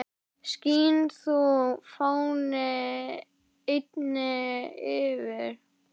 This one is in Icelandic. Skín þú, fáni, eynni yfir